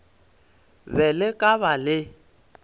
be le ka ba le